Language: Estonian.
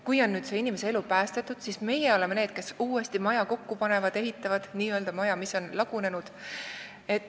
Kui inimese elu on päästetud, siis meie oleme need, kes uuesti n-ö maja kokku panevad, ehitavad üles selle, mis on lagunenud.